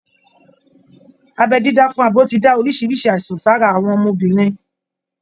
Abẹ́ dídá fún abo ti dá oríṣiríṣi àìsàn sára àwọn ọmọbìnrin